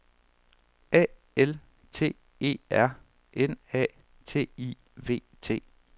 A L T E R N A T I V T